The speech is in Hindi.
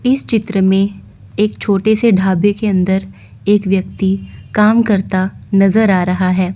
इस चित्र में एक छोटे से ढाबे के अंदर एक व्यक्ति काम करता नजर आ रहा है।